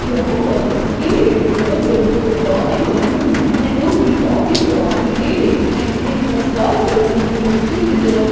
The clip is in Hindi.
यहां पर यह बहुत बड़ी चट्टानें बनी हुई है जोकि काफी पुरानी दे रही है इनको फाड़कर उनके नीचे की तरफ--